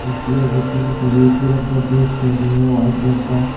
जी और बच्चे ने सभी एक ही रंग का ड्रेस पहनी है व्हाइट रंग का।